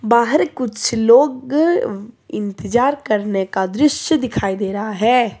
बाहर कुछ लोग इंतजार करने का दृश्य दिखाई दे रहा है।